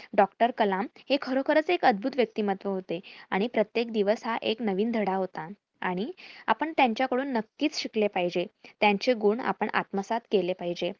डॉ. कलाम हे खरोखरच एक अद्भुत व्यक्तीमत्व होते. आणि प्रत्येक दिवस हा एक नवीन धडा होता आणि आपण त्यांच्याकडून नक्कीच शिकले पाहिजे. त्यांचे गुण आपण आत्मसात केले पाहिजे.